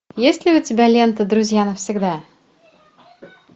есть ли у тебя лента друзья навсегда